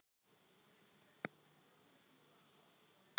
Þurfa ekki að skerða réttindi